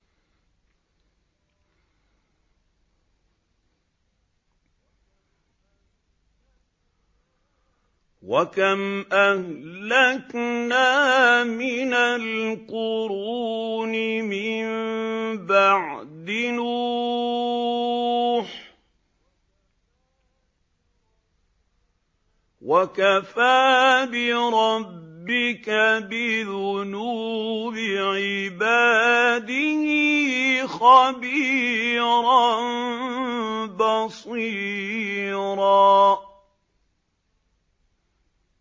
وَكَمْ أَهْلَكْنَا مِنَ الْقُرُونِ مِن بَعْدِ نُوحٍ ۗ وَكَفَىٰ بِرَبِّكَ بِذُنُوبِ عِبَادِهِ خَبِيرًا بَصِيرًا